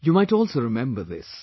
You might also remember this